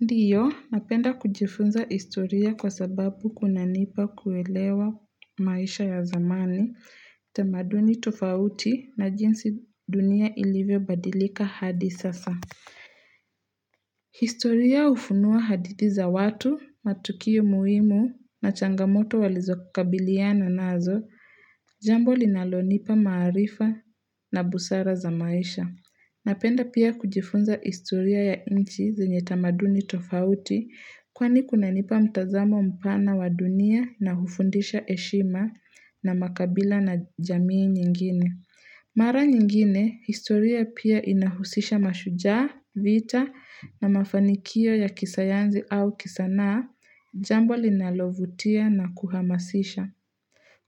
Ndiyo, napenda kujifunza historia kwa sababu kunanipa kuelewa maisha ya zamani, tamaduni tofauti na jinsi dunia ilivyo badilika hadi sasa. Historia ufunua hadithi za watu, matukiu muhimu na changamoto walizokabiliana nazo, jambo linalonipa maarifa na busara za maisha. Napenda pia kujifunza historia ya inchi zinye tamaduni tofauti kwani kuna nipa mtazamo mpana wa dunia na hufundisha eshima na makabila na jamii nyingine. Mara nyingine, historia pia inahusisha mashujaa, vita na mafanikio ya kisayansi au kisanaa, jambo linalovutia na kuhamasisha.